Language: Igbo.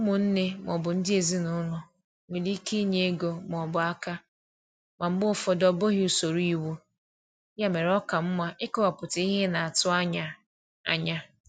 Ụmụnne ma ọ bụ ndị ezinụlọ nwere ike inye ego ma ọ bụ aka, ma mgbe ụfọdụ ọ bụghị usoro iwu, ya mere ọ ka mma ịkọwapụta ihe ị na-atụ anya. anya.